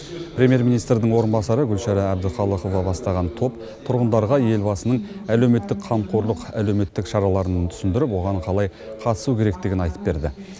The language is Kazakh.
премьер министрінің орынбасары гүлшара әбдіқалықова бастаған топ тұрғындарға елбасының әлеуметтік қамқорлық әлеуметтік шараларын түсіндіріп оған қалай қатысу керектігін айтып берді